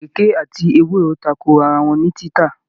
Ìrèké àti ewúro tako ara wọn ní títà.